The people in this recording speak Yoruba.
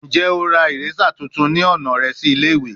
Njẹ o ra eraser tuntun ni ọna rẹ si ile-iwe?